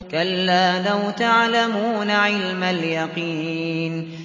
كَلَّا لَوْ تَعْلَمُونَ عِلْمَ الْيَقِينِ